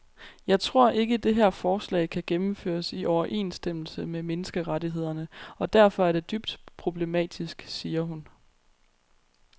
Jeg tror ikke, det her forslag kan gennemføres i overensstemmelse med menneskerettighederne og derfor er det dybt problematisk, siger hun.